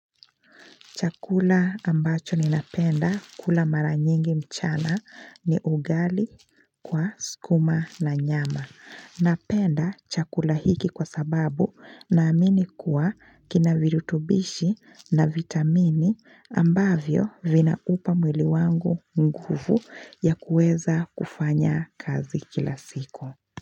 Chakula ambacho ni napenda kula mara nyingi mchana ni ugali kwa skuma na nyama. Napenda chakula hiki kwa sababu naamini kuwa kina virutubishi na vitamini ambavyo vinaupa mwili wangu nguvu ya kueza kufanya kazi kila siku.